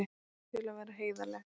Til að vera heiðarleg.